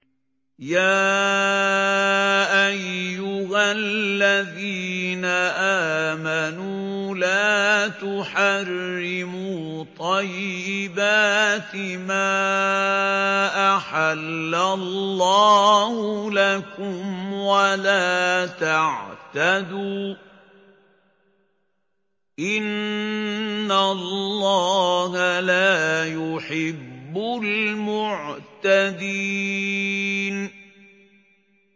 يَا أَيُّهَا الَّذِينَ آمَنُوا لَا تُحَرِّمُوا طَيِّبَاتِ مَا أَحَلَّ اللَّهُ لَكُمْ وَلَا تَعْتَدُوا ۚ إِنَّ اللَّهَ لَا يُحِبُّ الْمُعْتَدِينَ